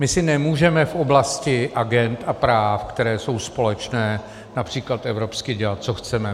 My si nemůžeme v oblasti agend a práv, které jsou společné, například evropsky, dělat, co chceme.